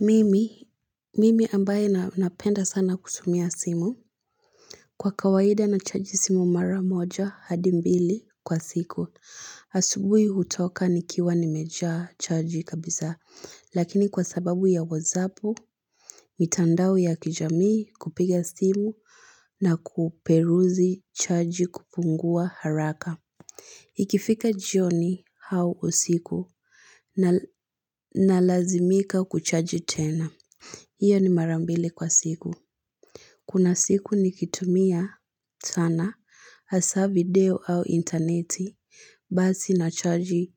Mimi, mimi ambaye napenda sana kutumia simu, kwa kawaida nachaji simu mara moja hadi mbili kwa siku. Asubuhi hutoka nikiwa nimejaa chaji kabisa, lakini kwa sababu ya wozapo, mitandao ya kijamii kupiga simu na kuperuzi chaji kupungua haraka. Ikifika jioni au usiku nalazimika kuchaji tena. Iyo ni mara mbili kwa siku. Kuna siku nikitumia sana hasa video au intaneti basi nachaji